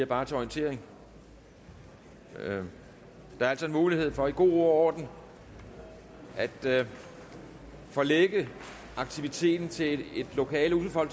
bare til orientering der er altså en mulighed for i god ro og orden at forlægge aktiviteten til et lokale udenfor